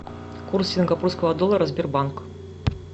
курс сингапурского доллара сбербанк